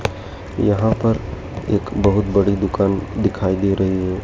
यहां पर एक बहोत बड़ी दुकान दिखाई दे रही है।